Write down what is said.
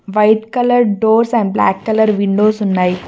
White colour doors and black colour windows ఉన్నాయి.